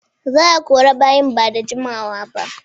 Za'a kori bayin ba da jimawaba.